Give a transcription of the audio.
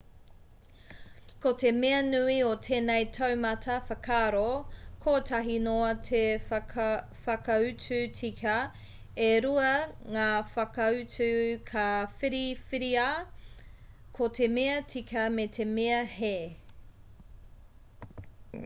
ko te mea nui o tēnei taumata whakaaro kotahi noa te whakautu tika e rua ngā whakautu ka whiriwhiria ko te mea tika me te mea hē